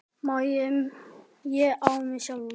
ÉG Á MIG SJÁLF!